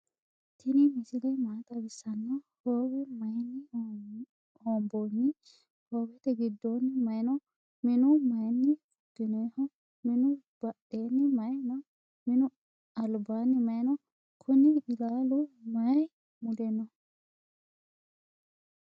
tini misile maa xawisano? howe maayini hoonbini? howete gidoni mayi no?minu mayini fukininiho? minu badheni mayi no?minu albaani mayi no?kuuni iillalu mayi mule no?